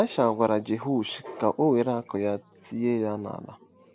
Ịlaịsha gwaziri Jehoash ka o were akụ́ ya tie ha n’ala..